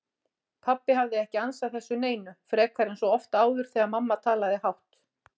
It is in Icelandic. Pabbi hafði ekki ansað þessu neinu, frekar en svo oft áður þegar mamma talaði hátt.